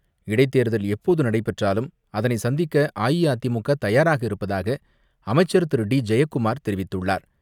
இடைத் தேர்தல் எப்போது நடைபெற்றாலும் அதனை சந்திக்க அஇஅதிமுக தயாராக இருப்பதாக அமைச்சர் திரு டி ஜெயக்குமார் தெரிவித்துள்ளார்.